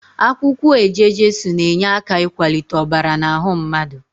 Akwukwo eje-jesu na-enyeaka ikwalite obara n'ahu mmadu